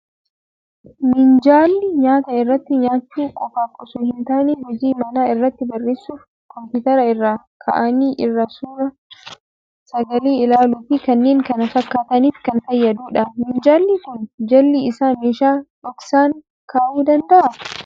Minjaalli nyaata irratti nyaachuu qofaaf osoo hin taane, hojii manaa irratti barreessuuf, kompiitara irra kaa'anii irraa suur sagalee ilaaluu fi kanneen kana fakkaataniif kan fayyadudha. Minjaalli kun jalli isaa meeshaa dhoksaan kaa'uu danda'a.